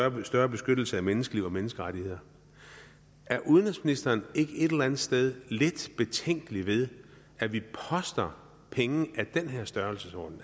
en større beskyttelse af menneskeliv og menneskerettigheder er udenrigsministeren ikke et eller andet sted lidt betænkelig ved at vi poster penge af den her størrelsesorden